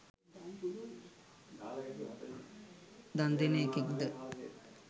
දන් දෙන එකෙක්ද.